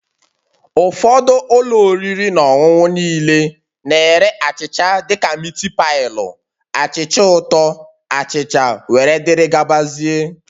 Ụfọdụ ụlọ oriri na ọṅụṅụ niile na-ere achịcha dị ka miti pailu, achịcha ụtọ, achịcha wdg